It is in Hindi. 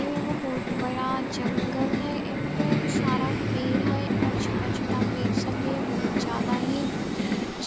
इ एगो बहुत बड़ा जंगल है एमे बहुत सारा पेड़ है और छोटा-छोटा पेड़ सब भी है। बहुत ज़्यदा ही